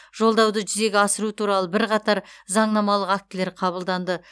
жолдауды жүзеге асыру туралы бірқатар заңнамалық актілер қабылданды